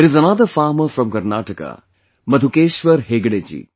There is another farmer from Karnataka Madhukeshwar Hegde ji